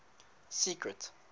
secret